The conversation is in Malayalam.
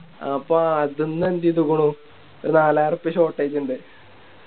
അപ്പൊ അതിന്ന് എന്ത് ചെയ്തിക്കുണു ഒര് നാളായിരുറപ്പ്യ Shortage ഇണ്ട്